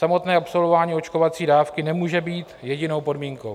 Samotné absolvování očkovací dávky nemůže být jedinou podmínkou.